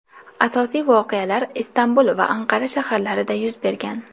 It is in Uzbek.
Asosiy voqealar Istanbul va Anqara shaharlarida yuz bergan.